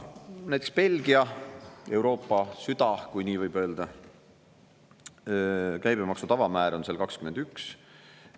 Näiteks Belgia – Euroopa süda, kui nii võib öelda – käibemaksu tavamäär on 21%.